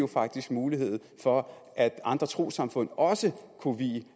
faktisk mulighed for at andre trossamfund også kunne vie